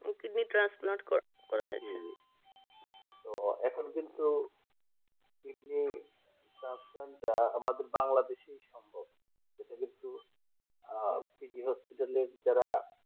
kidney transfer করা হয় তো এখন কিন্তু তো কিডনি ট্রান্সফার দেওয়া বাংলাদেশে কি করে সম্ভব pg hospital যারা